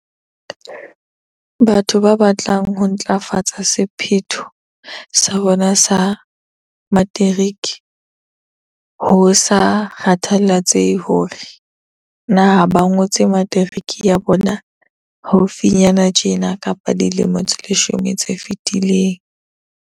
Batho ba batlang ho ntlafatsa sephetho sa bona sa materiki, ho sa kgathaletsehe hore na ba ngotse materiki ya bona haufinyana tjena kapa dilemo tse leshome tse fetileng.